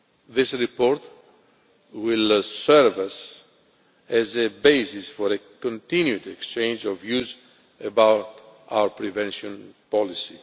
well. This report will serve as a basis for a continued exchange of views about our prevention policy.